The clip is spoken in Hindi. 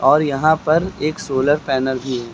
और यहां पर एक सोलर पैनल भी है।